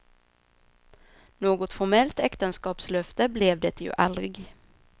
Något formellt äktenskapslöfte blev det ju aldrig.